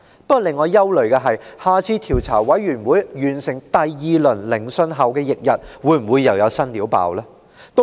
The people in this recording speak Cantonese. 不過，令我感到憂慮的是，調查委員會完成第二輪聆訊後翌日，會否又有新醜聞曝光？